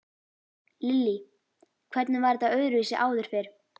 Lillý: Hvernig var þetta öðruvísi áður fyrr?